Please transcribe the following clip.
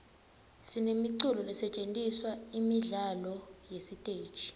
sinemiculo lesetjentiselwa imidlalo yesiteji